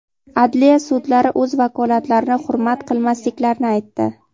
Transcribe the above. adliya sudlari o‘z vakolatlarini hurmat qilmasliklarini aytdi.